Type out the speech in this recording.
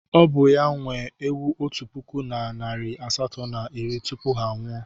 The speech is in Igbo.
Ọ bụ ya nwe ewu otu puku na narị asatọ na iri tupu ha anwụọ.